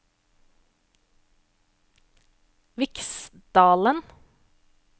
Viksdalen